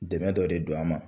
Dɛmɛ dɔ de don a ma